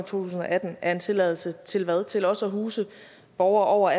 tusind og atten er en tilladelse til hvad til også at huse borgere over